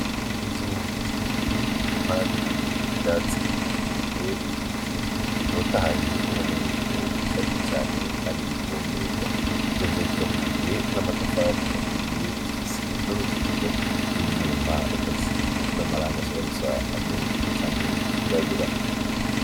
Inzu zibiri ziri impande y'ivyatsi birebere n'ibiti bitotahaye ubona yuko bisharije cane kandi bivomegwa izo nzutzu bakishijwe n'amatafari aturiye zifise n'uruzitiro rw'ibyuma ikazisize n'amarangi ashaka gusa n'ubururu canke yirabura.